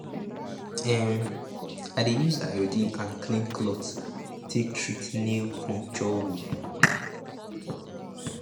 um i dey use iodine and clean cloth take treat nail puncture wound